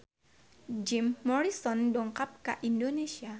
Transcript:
Jim Morrison dongkap ka Indonesia